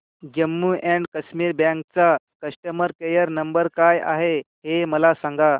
Jammu and Kashmir bank चा customer care number काय आहे हे मला सांगा